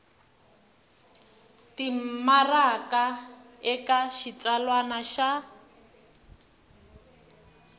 ya timaraka eka xitsalwana xa